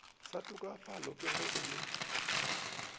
sa tokafalago ge e le